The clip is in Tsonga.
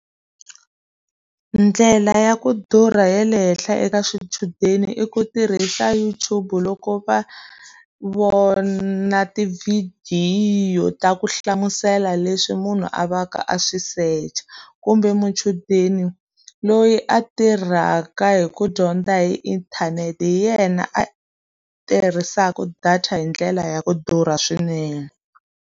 Ndlela ya ku durha ya le henhla eka swichudeni i ku tirhisa YouTube loko va vona tivhidiyo ta ku hlamusela leswi munhu a a va ka a swi search-a. Kumbe muchudeni loyi a tirhaka hi ku dyondza hi inthanete hi yena a tirhisaka data hi ndlela ya ku durha swinene.